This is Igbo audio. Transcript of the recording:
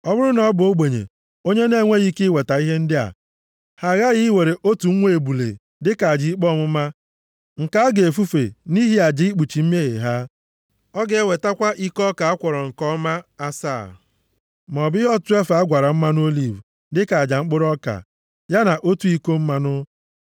“Ọ bụrụ na ọ bụ ogbenye onye na-enweghị ike iweta ihe ndị a, ha aghaghị iwere otu nwa ebule dịka aja ikpe ọmụma nke a ga-efufe nʼihi aja ikpuchi mmehie ha, Ọ ga-ewetakwa iko ọka a kwọrọ nke ọma asaa maọbụ ihe ọtụtụ efaa a gwara mmanụ oliv dịka aja mkpụrụ ọka, ya na otu iko mmanụ.